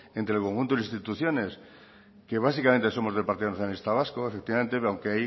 entre el conjunto de las instituciones que básicamente somos del partido nacionalista vasco efectivamente pero aunque